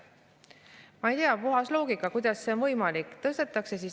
Ma ei tea, kuidas see on võimalik, puhtast loogikast.